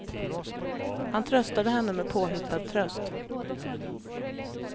Han tröstade henne med påhittad tröst.